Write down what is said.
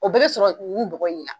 O bɛɛ bɛ sɔrɔ yugu bɔgɔ in na.